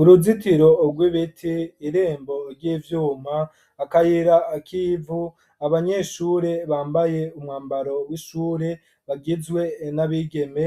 Uruzitiro rw'ibiti, irembo ry'ivyuma, akayira k'ivu, akayira k'ivu, abanyeshure bambaye umwambaro w'ishure, bagizwe n'abigeme,